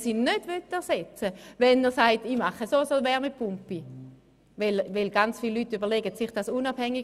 Will er diese nicht ersetzen und eine Wärmepumpe einbauen, muss er keinen GEAK machen.